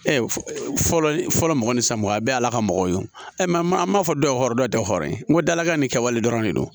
Ɛɛ fɔlɔ fɔlɔ mɔgɔ ni san mugan a bɛɛ ye ala ka mɔgɔw ye o ma an b'a fɔ dɔ rɔ dɔ ye dɔ hɔrɔn ye n ko dalaka ni kɛwale dɔrɔn de don